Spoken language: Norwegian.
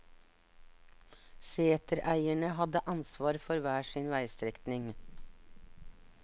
Setereierne hadde ansvar for hver sin veistrekning.